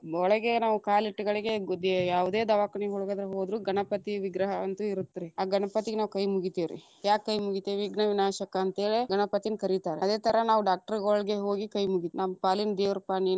ಒಳಗೆ ನಾವ್‌ ಕಾಲಿಟ್ಟಗಳಿಗೆ, ಗು ದೆ ಯಾವುದೇ ದವಾಕನಿ‌ ಒಳಗಾದ್ರು ಹೋದ್ರು ಗಣಪತಿ ವಿಗ್ರಹ ಅಂತು ಇರುತ್ರಿ, ಆ ಗಣಪತಿಗ ನಾವ್‌ ಕೈ ಮುಗಿತೇವ್ರಿ, ಯಾಕ ಕೈ ಮುಗಿತೇವಿ ವಿಘ್ವವಿನಾಶಕ ಅಂತ ಹೇಳಿ ಗಣಪತಿನ್ನ ಕರಿತಾರ, ಅದೇ ಥರಾ ನಾವ್ doctor ಗಳುಗೆ ಹೋಗಿ ಕೈ ಮುಗಿ ನಮ್ಮ ಪಾಲಿನ ದೇವ್ರಪಾ ನೀನ್.